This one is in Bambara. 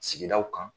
Sigidaw kan